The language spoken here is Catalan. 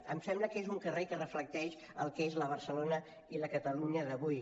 em sembla que és un carrer que reflecteix el que és la barcelona i la catalunya d’avui